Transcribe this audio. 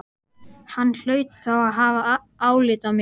Hann hlaut þá að hafa álit á mér!